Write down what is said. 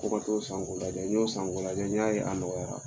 K'o ka t'o san k'o lajɛ.n y'o san k'o lajɛ, n y'a ye a nɔgɔyara.